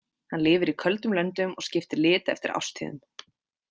Hann lifir í köldum löndum og skiptir lit eftir árstíðum.